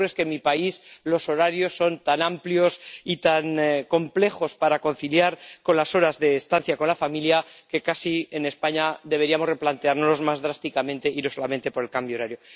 Lo que ocurre es que, en mi país, los horarios son tan amplios y tan complejos para conciliar con las horas de estancia con la familia que casi, en España, deberíamos replanteárnoslos más drásticamente y no solamente por el cambio horario.